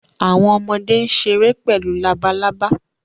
àwọn ọmọde n ṣere pẹlu àwọn làbàlábá